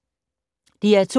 DR2